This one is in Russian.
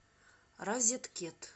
розеткед